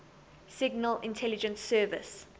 signal intelligence service